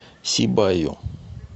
сибаю